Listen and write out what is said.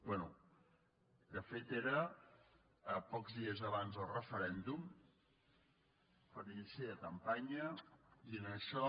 bé de fet era pocs dies abans del referèn·dum per inici de campanya diuen això